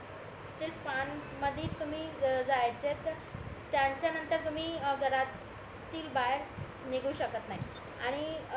त्या स्पॅम मध्ये तुम्ही जायचे तर त्यांच्या नतंर तुम्ही घरातील बाहेर निघू शकत नाही आणि